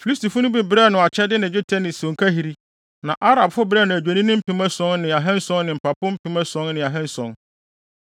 Filistifo no bi brɛɛ no akyɛde ne dwetɛ sɛ sonkahiri, na Arabfo brɛɛ no adwennini mpem ason ne ahanson ne mpapo mpem ason ne ahanson.